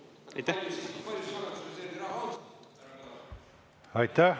Aitäh!